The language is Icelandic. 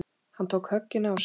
Hann tók höggin á sig.